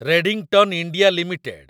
Redington India limited